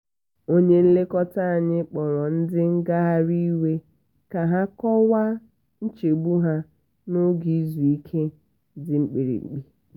onye nlekọta anyị kpọrọ ndị ngagharị iwe ka ha kọwaa nchegbu ha n'oge izu ike dị mkpirikpi.